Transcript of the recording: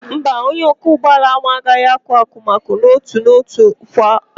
Mba, onye ọkụ ugbo ahụ aaghị akọ akụmakụ n'otu n'otu kwa afọ.